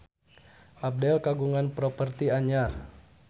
Abdel kagungan properti anyar